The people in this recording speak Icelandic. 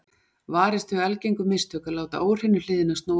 Varist þau algengu mistök að láta óhreinu hliðina snúa út.